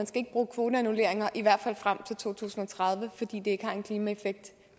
skal bruge kvoterannulleringer i hvert fald frem til to tusind og tredive fordi de ikke har en klimaeffekt